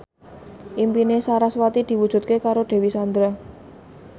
impine sarasvati diwujudke karo Dewi Sandra